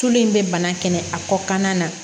Tulo in bɛ bana kɛlɛ a kɔ kannan na